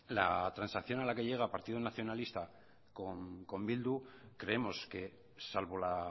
la transacción a la que llega partido nacionalista con bildu creemos que salvo la